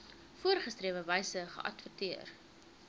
voorgeskrewe wyse geadverteer